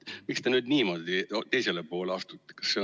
Miks te nüüd niimoodi teisele poole astute?